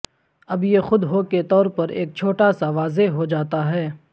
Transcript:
اب یہ خود ہو کے طور پر ایک چھوٹا سا واضح ہو جاتا ہے